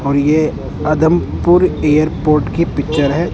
और ये आदमपुर एयरपोर्ट की पिक्चर है।